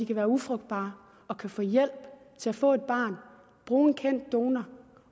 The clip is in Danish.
kan være ufrugtbare og kan få hjælp til at få et barn bruge en kendt donor